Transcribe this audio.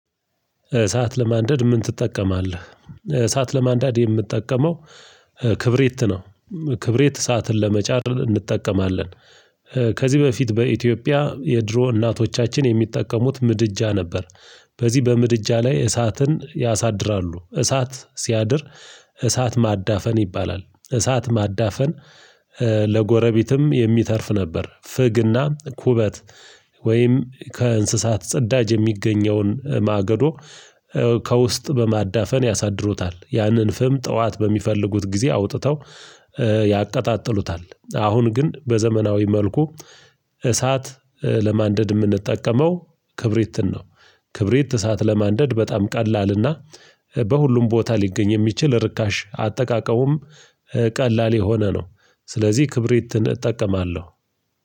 እሳት ለማንደድ ምን ትጠቀማለህ? እሳት ለማንደድ የምጠቀመው ክብሪት ነው። ክብሪት እሳትን ለመጫር እንጠቀማለን። ከዚህ በፊት በኢትዮጵያ የድሮ እናቶቻችን የሚጠቀሙት ምድጃ ነበር። በዚህ በምድጃ ላይ እሳትን ያሳድራሉ እሳት ሲያድር። እሳት ማዳፈን ይባላል እሳት ማዳፈን። ለጎረቤትም የሚተርፍ ነበር። ፍግና ኩበት ወይም ከእንስሳት ጸዳጅ የሚገኘውን ማገዶ። ከውስጥ በማዳፈን ያሳድሩታል ያንን ፍም ጠዋት በሚፈልጉት ጊዜ አውጥተው ያቀጣጥሉታል። አሁን ግን በዘመናዊ መልኩ እሳት ለማንደድ የምንጠቀመው ክብሪት ነው። ክብሪት እሳት ለማንደድ በጣም ቀላልና በሁሉም ቦታ ሊገኝ የሚችል ርካሽ አጠቃቀሙም ቀላል የሆነ ነው። ስለዚህ ክብሪትን እጠቀማለሁ።